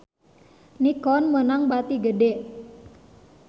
Nikon meunang bati gede